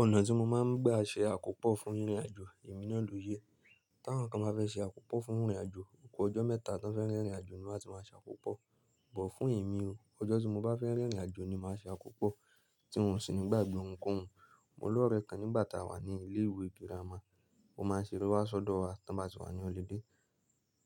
Ọ̀nà tí mo máa ń gbà ṣe àkópò fún rìnrìn àjò èmi náà ló yẹ. Tí àwọn kan bá fẹ́ ṣe àkópò fún rìnrìn àjò, oko ọjọ́ mẹ́ta tí wọ́n fẹ́ rìn ìrìn àjò ni wọ́n á ti máa ṣe àkópò. Bọ̀ fún èmi o, ọjọ́ tí mo bá fẹ́ rìn ìrìn àjò ni màá ṣe àkópò, tí n ò sì ń gbàgbé ohunkóhun. Mo ní olórẹ kan nígbà tí a wà ní ilé ìwé girama, ó máa ń ṣeré wá sọ́dọ̀ wa tí wọn bá ti wà ní holiday.